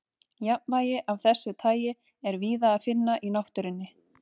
Jafnvægi af þessu tagi er víða að finna í náttúrunni.